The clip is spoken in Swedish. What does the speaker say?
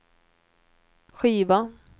skiva